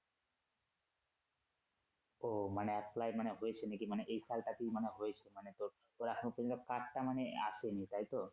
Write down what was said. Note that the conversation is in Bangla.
ও মানে apply মানে হয়েছে নাকি মানে এই সালটাতেই হয়েছে তোর এখন কিন্তু card টা মানে আসেনি তাইতো